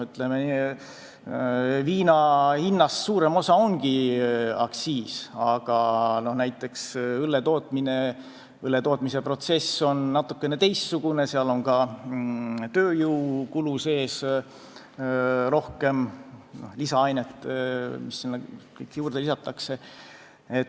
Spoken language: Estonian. Viina hinnast suurem osa ongi aktsiis, aga näiteks õlle tootmisprotsess on natukene teistsugune, seal on ka tööjõukulu rohkem, seal on lisaaineid, mida juurde lisatakse.